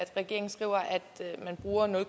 regeringen skriver at man bruger nul